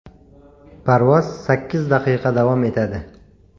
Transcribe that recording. Parvoz sakkiz daqiqa davom etadi.